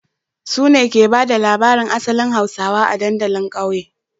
Su ne ke ba da labarin asalin hausawa a dandalin kauye